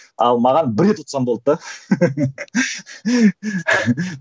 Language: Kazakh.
ал маған бір рет ұтсам болды да